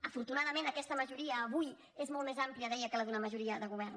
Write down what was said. afortunadament aquesta majoria avui és molt més àmplia deia que la d’una majoria de govern